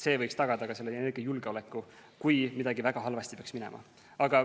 See võiks tagada ka energiajulgeoleku, kui midagi väga halvasti peaks minema.